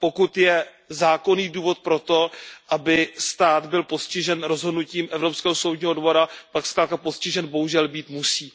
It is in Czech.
Pokud je zákonný důvod pro to, aby stát byl postižen rozhodnutím Evropského soudního dvora, pak zkrátka postižen bohužel být musí.